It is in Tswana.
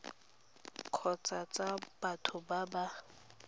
kgotsa tsa batho ba ba